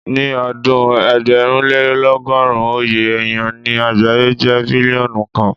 Ní ọdún ẹgbẹ̀rúnlélọ́gọ́rùn, oye èyàn ní àgbáyé jẹ́ bílíọ́nù kan.